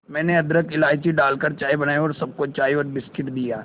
मैंने अदरक इलायची डालकर चाय बनाई और सबको चाय और बिस्कुट दिए